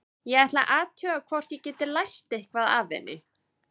Ég ætla að athuga hvort ég get lært eitthvað af henni.